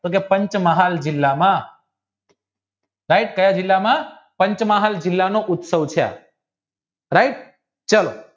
પંચમહાલ જિલ્લામાં ભાઈ કાયા જિલ્લામાં પંચમહાલ જિલ્લા નો ઉત્સવ છે આ right ચાલો